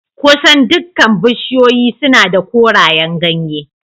Kusan dukkan bishiyoyi suna da korayen ganye